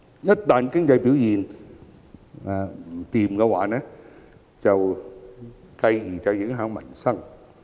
一旦經濟表現不振，便會影響民生。